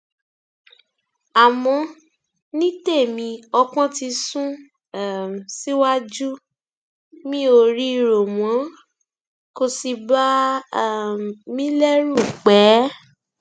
àmọ ní tèmi ọpọn ti sùn um síwájú mi ò rí i rò mọ kò sì bà um mí lẹrù pẹẹ